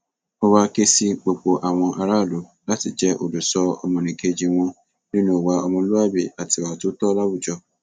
ó wàá ké sí gbogbo àwọn aráàlú láti jẹ olùṣọ ọmọnìkejì wọn nínú ìwà ọmọlúàbí àti ìwà tó tọ láwùjọ